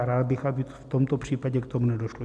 A rád bych, aby v tomto případě k tomu nedošlo.